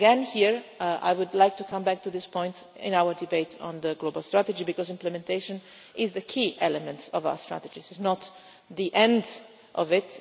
Here again I would like to come back to this point in our debate on the global strategy, because implementation is the key element of our strategies. It is not the end of it